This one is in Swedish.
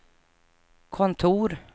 kontor